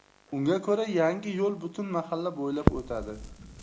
Unga ko‘ra, yangi yo‘l butun mahalla bo‘ylab o‘tadi.